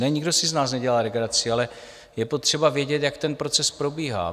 Ne, nikdo si z nás nedělá legraci, ale je potřeba vědět, jak ten proces probíhá.